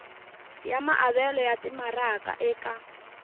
ya maavelo ya timaraka eka